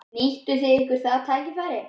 Nýttu þið ykkur það tækifæri?